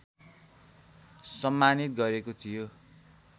सम्मानित गरेको थियो